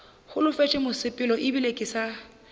holofetše mosepelo ebile ke sa